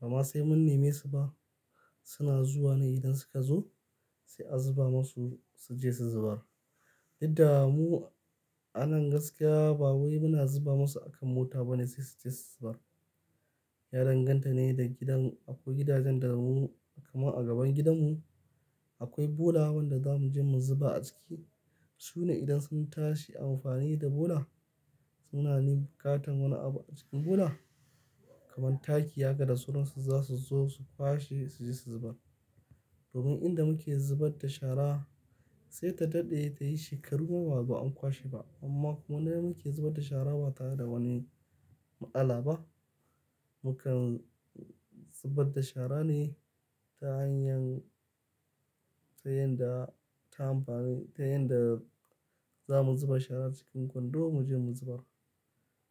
Ba ma sai mun neme su ba suna zuwa ne idan suka zo sai a zuba masu su je su zubar. Duk da mu a nan gaskiya ba wai muna zuba masu a kan mota bane sai su je su zubar. Ya danganta ne da gidan, akwai gidajen da mu kamar a gaban gidanmu akwai bula wanda za mu je mu zuba a ciki. Su ne idan sun tashi amfani da bula suna ni katon wani abu a cikin bula kamar taki haka da sauransu za su zo su kwashe su je su zubar. Domin inda muke zubar da shara sai ta daɗe ta yi shekaru ma ba a kwashe ba. Amma kuma nan muke zubar da shara ba tare da wani matsala ba. Mu kan zubar da shara ne ta hanyar, ta yanda, ta amfani, ta yanda za mun zuba shara cikin kwando mu je mu zubar.